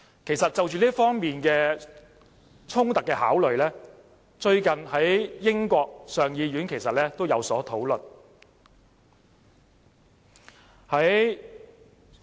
其實，就這方面衝突的考慮，最近英國上議院也有所討論。